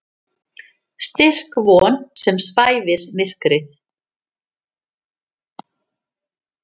Styrk von sem svæfir myrkrið.